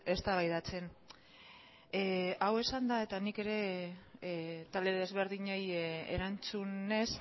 eztabaidatzen hau esanda eta nik ere talde desberdinei erantzunez